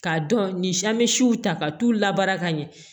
K'a dɔn ni si an bɛ siw ta ka t'u labaara ka ɲɛ